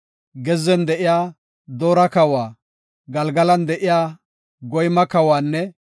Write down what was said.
Gezzen de7iya Doora kawa, Galgalan de7iya Goyma kawanne